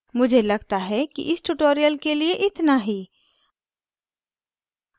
मुझे लगता है कि इस tutorial के लिए इतना ही